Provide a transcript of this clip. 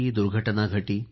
दुर्घटना घटी